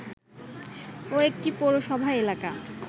ও একটি পৌরসভা এলাকা